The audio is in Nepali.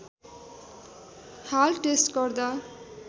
हाल टेस्ट गर्दा